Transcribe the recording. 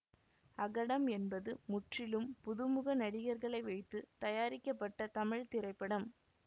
அகடம் என்பது முற்றிலும் புதுமுக நடிகர்களை வைத்து தயாரிக்கப்பட்ட தமிழ் திரைப்படம்